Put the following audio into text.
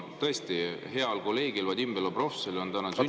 Tõesti, heal kolleegil Vadim Belobrovtsevil on täna sünnipäev.